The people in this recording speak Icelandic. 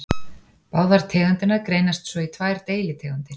Báðar tegundirnar greinast svo í tvær deilitegundir.